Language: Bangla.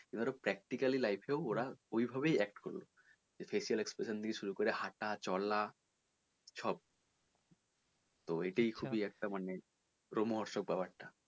এবার ধর practically life এও ওরা ওইভাবেই act করবে সে facial expression থেকে শুরু করে হাঁটা চলা সব তো এটাই খুবই একটা মানে ব্যাপার টা।